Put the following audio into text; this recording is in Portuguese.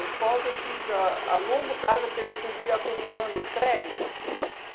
pós eu fiz a a longo prazo, porque podia ir acumulando os créditos.